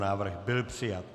Návrh byl přijat.